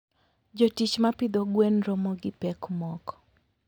Jotich ma pidho gwen romo gi pek moko.